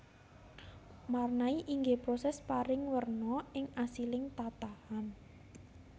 Marnai inggih proses paring werna ing asiling tatahan